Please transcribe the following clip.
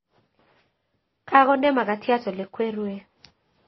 Kakonde makatyat elekweruke